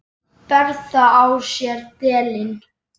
Ber það á sér delinn.